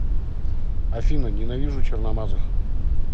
афина ненавижу черномазых